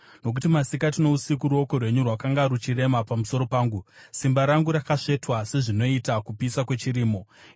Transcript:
Nokuti masikati nousiku ruoko rwenyu rwakanga ruchirema pamusoro pangu; simba rangu rakasvetwa sezvinoita kupisa kwechirimo. Sera